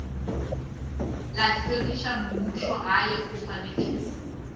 la tlhwekišo mmušogae o swanetše